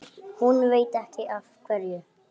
Hún veit ekki af hverju.